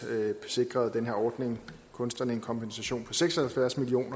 sikrede den her ordning kunstnerne en kompensation på seks og halvfjerds million